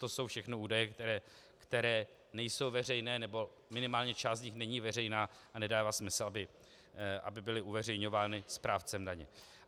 To jsou všechno údaje, které nejsou veřejné, nebo minimálně část z nich není veřejná a nedává smysl, aby byly uveřejňovány správcem daně.